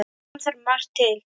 Kom þar margt til.